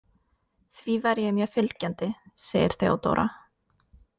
Því væri ég mjög fylgjandi, segir Theodóra.